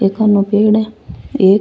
एखाने पेड़ है एक।